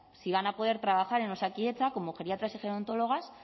si van a poder trabajar en osakidetza como geriatras y gerontólogas